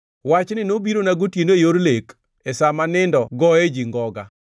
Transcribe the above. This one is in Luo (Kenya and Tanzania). Wachni nobirona gotieno e yor lek, e sa ma nindo goye ji ngoga,